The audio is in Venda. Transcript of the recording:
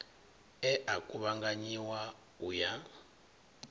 e a kuvhanganyiwa u ya